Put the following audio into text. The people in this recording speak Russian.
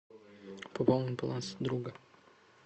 пополнить баланс друга